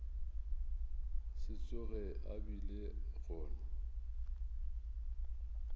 se tsoge a bile gona